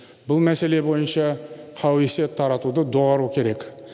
бұл мәселе бойынша қауесет таратуды доғару керек